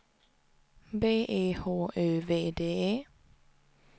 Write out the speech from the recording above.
B E H Ö V D E